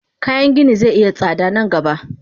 Kayan gini ze iya tsada nan gaba.